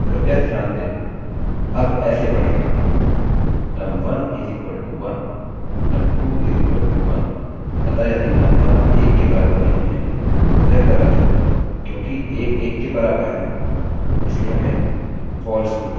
कृपया ध्यान दें यह अब ऐसे पढ़ेगा num1 = 1 num2 = 1 अतः यदि num1 1 के बराबर नहीं है तो यह ग़लत है क्योंकि 1 1 के बराबर है इसलिए हमें false मिलता है